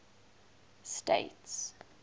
states